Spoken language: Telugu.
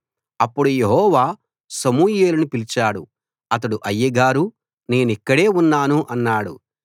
అప్పుడు యెహోవా సమూయేలును పిలిచాడు అతడు అయ్యగారూ నేనిక్కడే ఉన్నాను అన్నాడు